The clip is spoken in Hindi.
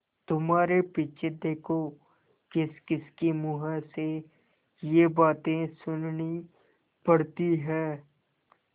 तुम्हारे पीछे देखो किसकिसके मुँह से ये बातें सुननी पड़ती हैं